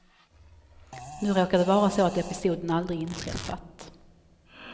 Nu råkar det vara så att episoden aldrig inträffat.